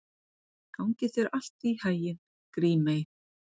Gangi þér allt í haginn, Grímey.